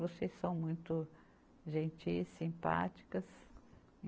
Vocês são muito gentis, simpáticas.